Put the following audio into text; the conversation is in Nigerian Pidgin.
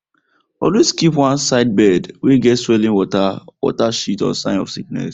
always keep one side bird way get swelling water water shit or sign of sickness